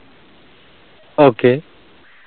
okay